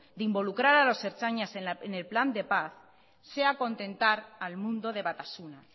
de involucrar a los ertzainas en el plan de paz sea contentar al mundo de batasuna